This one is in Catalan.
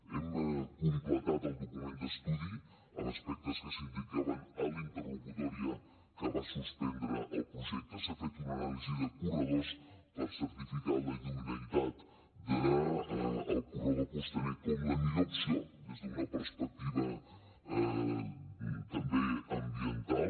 hem completat el document d’estudi amb aspectes que s’indicaven a la interlocutòria que va suspendre el projecte s’ha fet una anàlisi de corredors per certificar la idoneïtat del corredor costaner com la millor opció des d’una perspectiva també ambiental